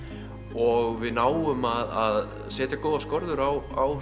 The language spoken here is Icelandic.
og við náum að setja góðar skorður á á